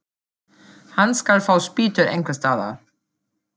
Hann skal fá spýtur einhvers staðar.